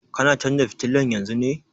Kana canza fitilan yanzun ne?